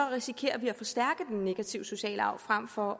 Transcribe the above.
risikerer vi at forstærke den negative sociale arv frem for